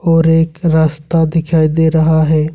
और एक रास्ता दिखाई दे रहा है।